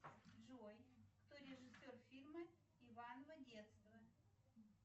джой кто режиссер фильма иваново детство